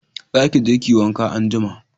Za ki je ki yi wanka anjima